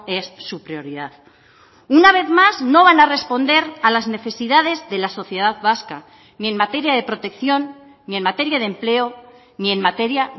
es su prioridad una vez más no van a responder a las necesidades de la sociedad vasca ni en materia de protección ni en materia de empleo ni en materia